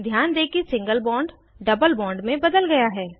ध्यान दें single bond double bond में बदल गया है